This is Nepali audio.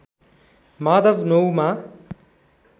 माधव नौ मा